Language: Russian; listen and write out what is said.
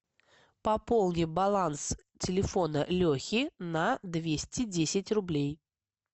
пополни баланс телефона лехи на двести десять рублей